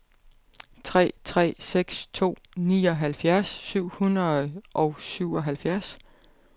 tre tre seks to nioghalvfjerds syv hundrede og syvoghalvfjerds